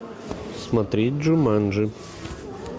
смотреть джуманджи